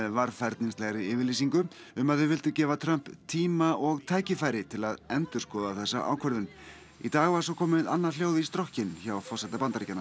varfærnislegri yfirlýsingu um að þau vildu gefa Trump tíma og tækifæri til að endurskoða þessa ákvörðun í dag var svo komið annað hljóð í strokkinn hjá forseta Bandaríkjanna